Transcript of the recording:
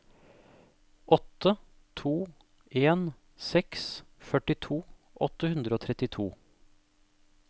åtte to en seks førtito åtte hundre og trettito